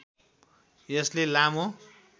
यसले लामो